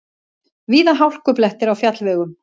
Víða hálkublettir á fjallvegum